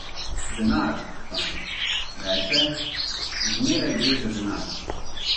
Denar, fant, reče, zmeraj gre za denar.